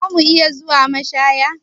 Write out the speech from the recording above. Za mu iya zuwa mashaya?